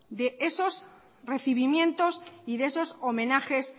de esos recibimientos y de esos homenajes